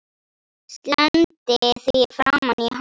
Slengdi því framan í hann.